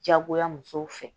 Diyagoya musow fɛ